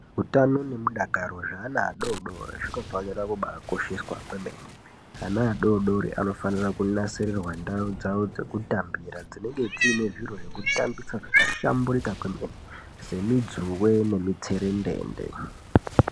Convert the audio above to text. Utano nemudakaro zveana adoodori zvinofanira kubaakosheswa kwemene ana adoodori vanofanira kunasisirirwa ndau dzawo dzekutambira dzinenge dziine zviro zvekutambisa zvakahlamburika kwemene semudzuwe nemutserendende.